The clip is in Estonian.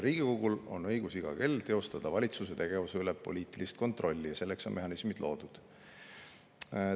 Riigikogul on õigus iga kell teostada valitsuse tegevuse üle poliitilist kontrolli, selleks on mehhanismid loodud.